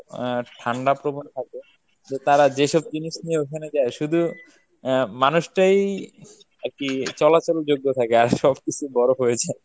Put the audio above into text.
আহ ঠান্ডা প্রবন থাকে যে তারা যেইসব জিনিস নিয়ে ঐখানে যায় শুধু আহ মানুষটাই আরকি চলাচল যোগ্য থাকে আর সবকিছু বরফ হয়ে যায়।